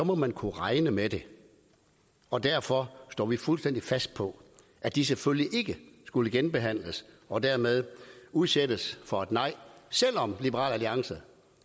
må man kunne regne med det og derfor står vi fuldstændig fast på at de selvfølgelig ikke skulle genbehandles og dermed udsættes for et nej selv om liberal alliance